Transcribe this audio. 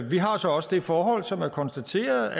vi har så også det forhold som er konstateret